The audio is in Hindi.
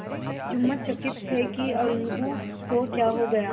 जुम्मन चकित थे कि अलगू को क्या हो गया